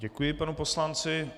Děkuji panu poslanci.